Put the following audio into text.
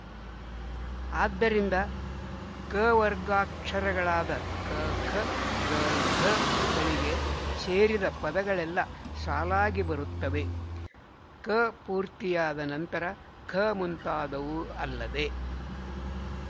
ಆದ್ದರಿಂದ ಕವರ್ಗಾಕ್ಷರಗಳಾದ ಕ ಖ ಗ ಘ ಗಳಿಗೆ ಸೇರಿದ ಪದಗಳೆಲ್ಲ ಸಾಲಾಗಿ ಬರುತ್ತವೆಕ ಪೂರ್ತಿಯಾದ ನಂತರ ಖ ಮುಂತಾದವು ಅಲ್ಲದೆ